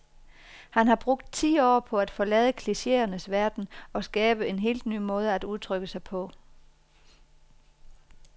Han har brugt ti år på at forlade klicheernes verden og skabe en helt ny måde at udtrykke sig på.